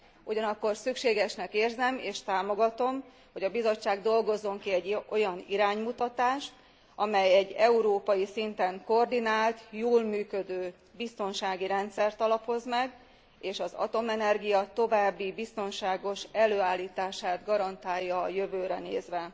Ugyanakkor szükségesnek érzem és támogatom, hogy a Bizottság dolgozzon ki egy olyan iránymutatást, amely egy európai szinten koordinált, jól működő biztonsági rendszert alapoz meg és az atomenergia további biztonságos előállítását garantálja a jövőre nézve.